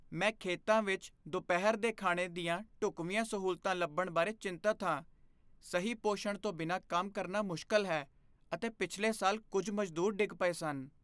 ਮੈਂ ਖੇਤਾਂ ਵਿੱਚ ਦੁਪਹਿਰ ਦੇ ਖਾਣੇ ਦੀਆਂ ਢੁੱਕਵੀਆਂ ਸਹੂਲਤਾਂ ਲੱਭਣ ਬਾਰੇ ਚਿੰਤਤ ਹਾਂ। ਸਹੀ ਪੋਸ਼ਣ ਤੋਂ ਬਿਨਾਂ ਕੰਮ ਕਰਨਾ ਮੁਸ਼ਕਲ ਹੈ, ਅਤੇ ਪਿਛਲੇ ਸਾਲ, ਕੁੱਝ ਮਜ਼ਦੂਰ ਡਿੱਗ ਪਏ ਸਨ।